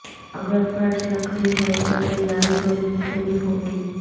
اگر فرش لکڑی ہے تو تیاری تھوڑی مختلف ہوگی